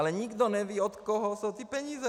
Ale nikdo neví, od koho jsou ty peníze!